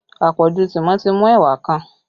Àpọ̀jù tìmọ́ ti mú ẹwà kan